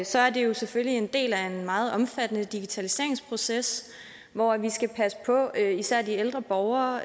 så er det jo selvfølgelig en del af en meget omfattende digitaliseringsproces hvor vi skal passe på især de ældre borgere